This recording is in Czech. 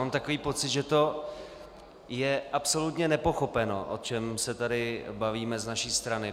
Mám takový pocit, že to je absolutně nepochopeno, o čem se tady bavíme z naší strany.